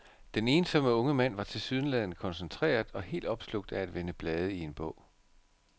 Den ensomme unge mand var tilsyneladende koncentreret og helt opslugt af at vende blade i en bog.